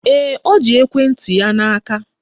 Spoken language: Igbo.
Ee, o ji ekwenti ya n'aka